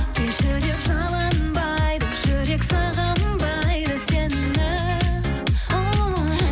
кешір деп жалынбайды жүрек сағынбайды сені ооо